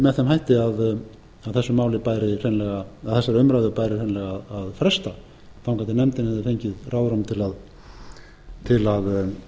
með þeim hætti að þessari umræðu bæri hreinlega að fresta þangað til nefndin hefði fengið ráðrúm til að fjalla betur um